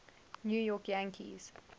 new york yankees